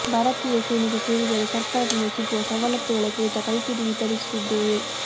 ಭಾರತೀಯ ಸೇನೆಗೆ ಸೇರಿದರೆ ಸರ್ಕಾರದಿಂದ ಸಿಗುವ ಸವಲತ್ತುಗಳ ಕುರಿತ ಕೈಪಿಡಿ ವಿತರಿಸುತ್ತಿದ್ದೇವೆ